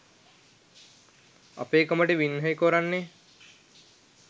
අපේකමට වින්නැහි කොරන්නේ